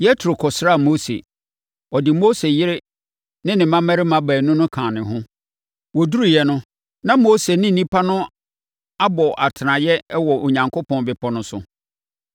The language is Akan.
Yetro kɔsraa Mose. Ɔde Mose yere ne ne mmammarima baanu no kaa ne ho. Wɔduruiɛ no, na Mose ne nnipa no abɔ atenaeɛ wɔ Onyankopɔn bepɔ no ho.